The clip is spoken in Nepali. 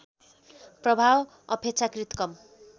प्रभाव अपेक्षाकृत कम